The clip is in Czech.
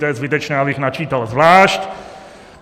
To je zbytečné, abych načítal zvlášť.